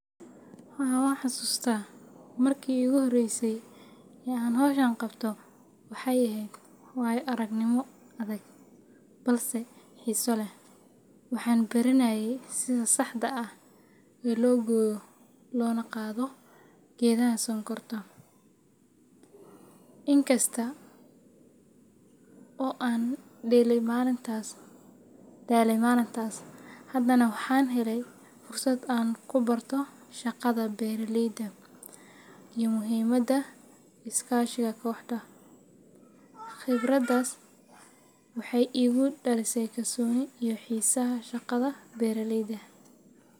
Haa, wanxusustaah markii ugu horreysay ee aan hawshan qabto, waxay ahayd waayo-aragnimo adag balse xiiso leh. Waxaan baranayay sida saxda ah ee loo gooyo loona qaado geedaha sonkorta. In kasta oo aan daalay maalintaas, haddana waxaan helay fursad aan ku barto shaqada beeraleyda iyo muhiimadda iskaashiga kooxda. Khibraddaas waxay igu dhalisay kalsooni iyo xiisaha shaqada beeraleyda.